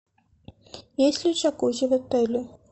есть ли джакузи в отеле